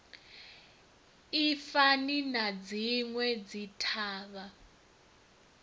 i fani na dzinwe dzithavha